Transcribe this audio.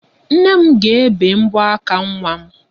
Nne m ga-ebe mbọ aka nwa m.